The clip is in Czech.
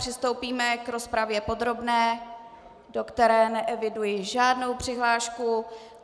Přistoupíme k rozpravě podrobné, do které neeviduji žádnou přihlášku.